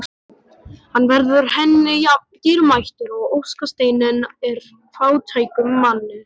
Hann verður henni jafn dýrmætur og óskasteinninn er fátækum manni.